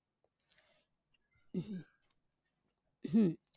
हम्म